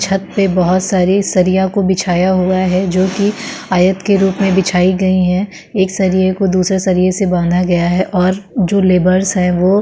छत पे बहोत सारे सरिया को बिछाया हुआ है जो कि आयत के रूप में बिछाई गई हैं। एक सरिए को दुसरे सरिए से बाँधा गया है और जो लेबरस हैं वो --